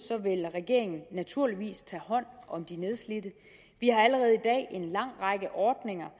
vil regeringen naturligvis tage hånd om de nedslidte vi har allerede i dag en lang række ordninger